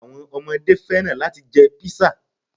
Àwọn omodé fẹ́ràn láti jẹ Pizza